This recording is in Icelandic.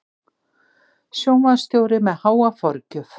Sjónvarpsstjóri með háa forgjöf